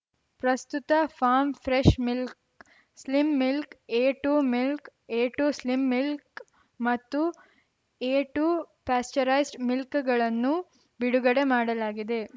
ಪ್ರಸ್ತುತ farm fresh milk slim milk A two milk A two slim milk ಮತ್ತು A two pasteurised milk ಗಳನ್ನು ಬಿಡುಗಡೆ ಮಾಡಲಾಗಿದೆ